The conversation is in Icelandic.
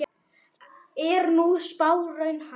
Er sú spá raunhæf?